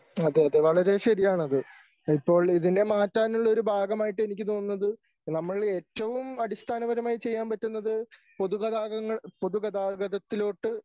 അതെ അതെ വളരെ ശരിയാണത്. ഇപ്പോൾ ഇതിനെ മാറ്റാനുള്ളൊരു ഭാഗമായിട്ടെനിക്ക് തോന്നുന്നത് നമ്മൾ ഏറ്റവും അടിസ്ഥാനപരമായി ചെയ്യാൻ പറ്റുന്നത് പൊതുഗഗാങ്ങൾ പൊതുഗതാഗതത്തിലോട്ട്